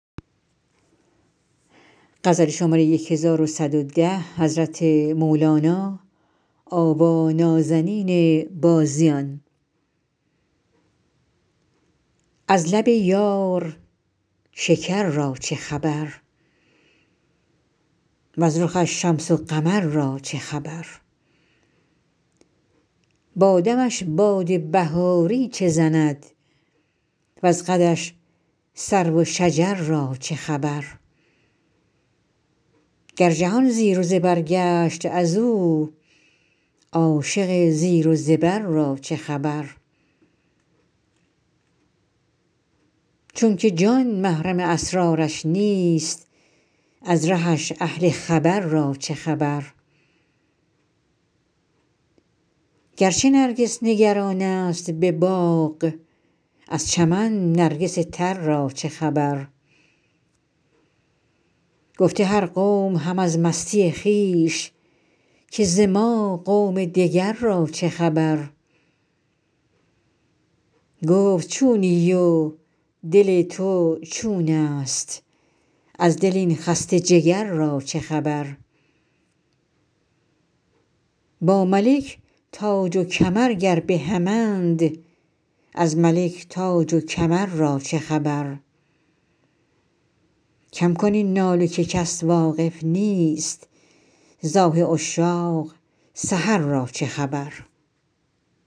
از لب یار شکر را چه خبر وز رخش شمس و قمر را چه خبر با دمش باد بهاری چه زند وز قدش سرو و شجر را چه خبر گر جهان زیر و زبر گشت از او عاشق زیر و زبر را چه خبر چونک جان محرم اسرارش نیست از رهش اهل خبر را چه خبر گرچه نرگس نگرانست به باغ از چمن نرگس تر را چه خبر گفته هر قوم هم از مستی خویش که ز ما قوم دگر را چه خبر گفت چونی و دل تو چونست از دل این خسته جگر را چه خبر با ملک تاج و کمر گر به همند از ملک تاج و کمر را چه خبر کم کن این ناله که کس واقف نیست ز آه عشاق سحر را چه خبر